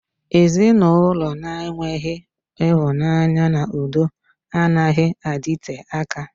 Ezinụlọ na-enweghị ịhụnanya na udo anaghị adịte aka.